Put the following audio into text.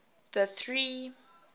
the three